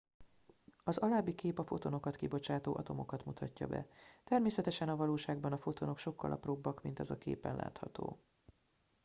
az alábbi kép a fotonokat kibocsátó atomokat mutatja be természetesen a valóságban a fotonok sokkal apróbbak mint az a képen látható